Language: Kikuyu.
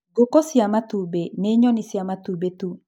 Ngũkũ cia matumbĩ nĩ nyoni cia matumbĩ tu.